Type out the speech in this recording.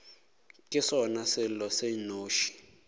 ke sona selo se nnoši